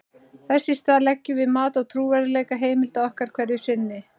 Þess í stað leggjum við mat á trúverðugleika heimilda okkar hverju sinni.